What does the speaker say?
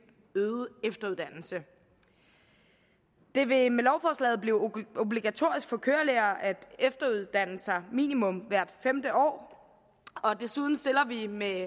øget efteruddannelse det vil med lovforslaget blive obligatorisk for kørelærere at efteruddanne sig minimum hvert femte år desuden stiller vi med